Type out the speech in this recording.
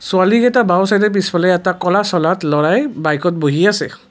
ছোৱালীকেইটা বাওঁ চাইদে পিছফালে এটা ক'লা বাইকত বহি আছে।